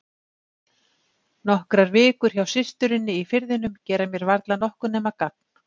Nokkrar vikur hjá systurinni í Firðinum gera mér varla nokkuð nema gagn.